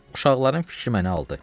Uşaqların fikri məni aldı.